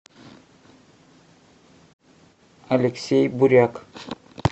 алексей буряк